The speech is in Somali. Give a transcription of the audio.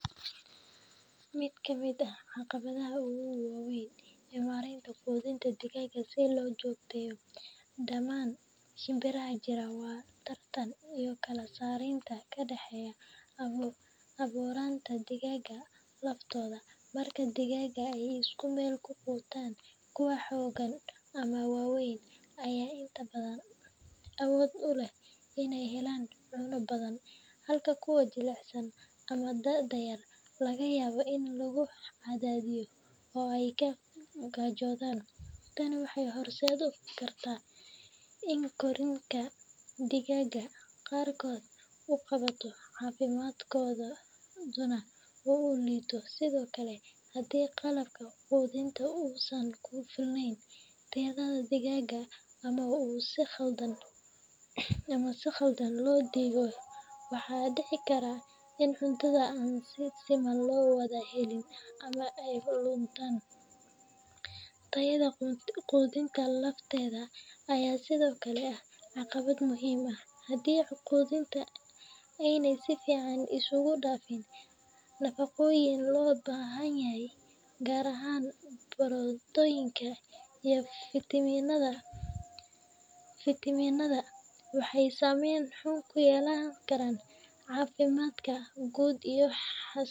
Mid ka mid ah caqabadaha ugu waaweyn ee maaraynta quudinta digaagga si loo joogteeyo dhammaan shimbiraha jira waa tartanka iyo kala sarreynta ka dhex abuuranta digaagga laftooda. Marka digaagga ay isku meel ku quutaan, kuwa xooggan ama waaweyn ayaa inta badan awood u leh inay helaan cunno badan, halka kuwa jilicsan ama da’da yar laga yaabo in lagu cadaadiyo oo ay ka gaajoodaan. Tani waxay horseedi kartaa in korriinka digaagga qaarkood uu gaabto, caafimaadkooduna uu liito. Sidoo kale, haddii qalabka quudinta uusan ku filnayn tirada digaagga ama uu si khaldan loo dhigay, waxaa dhici karta in cuntada aan si siman loo wada helin ama ay lunto. Tayada quudinta lafteeda ayaa sidoo kale ah caqabad muhiim ah; haddii quudinta aanay si fiican isugu dhafayn nafaqooyinka loo baahan yahay, gaar ahaan borotiinka iyo fiitamiinada, waxay saamayn xun ku yeelanaysaa caafimaadka guud iyo wa.